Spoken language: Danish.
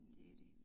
Det er de